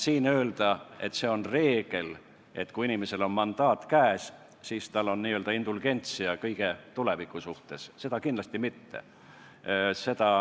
Siin öelda, et on reegel, et kui inimesel on mandaat käes, siis tal on n-ö indulgentia kõige tulevikus toimuva suhtes – seda kindlasti mitte.